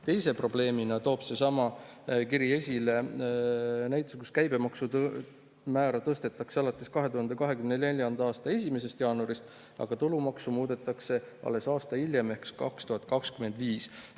" Teise probleemina toob seesama kiri esile näiteks selle, et käibemaksumäära tõstetakse 2024. aasta 1. jaanuaril, aga tulumaksu muudetakse alles aasta hiljem ehk 2025.